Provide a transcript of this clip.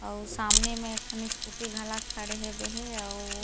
अउ सामने में एक ठन स्कूटी घला खड़े हेबे हे अउ--